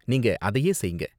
நீங்க அதையே செய்ங்க.